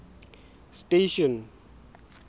station